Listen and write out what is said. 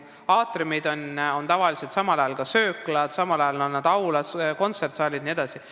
Aatriumid on tavaliselt samal ajal ka sööklad, aulad, kontserdisaalid jne.